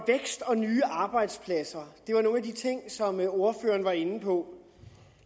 og nye arbejdspladser det var nogle af de ting som ordføreren var inde på